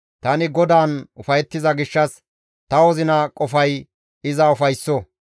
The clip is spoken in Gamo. Tani GODAAN ufayettiza gishshas ta wozina qofay iza ufaysso.